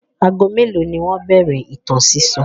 Ago mélòó ni wọ́n bẹ̀rẹ̀ ìtàn sísọ?